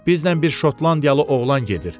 Bizdən bir şotlandiyalı oğlan gedir.